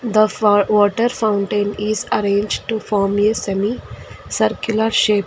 The fa water fountain is arranged to form a semi circular shape.